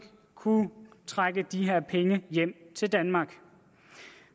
kunne trække de her penge hjem til danmark